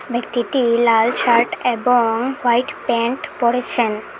ব্যক্তিটি লাল শার্ট এবং হোয়াইট প্যান্ট পড়েছেন।